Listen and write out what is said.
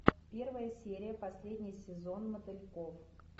первая серия последний сезон мотыльков